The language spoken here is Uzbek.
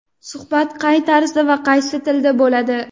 Suhbat qay tarzda va qaysi tilda bo‘ladi?.